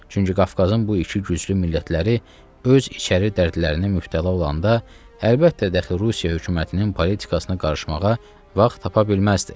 Çünki Qafqazın bu iki güclü millətləri öz içəri dərdlərinə mübtəla olanda əlbəttə dəxi Rusiya hökumətinin politikasına qarışmağa vaxt tapa bilməzdilər.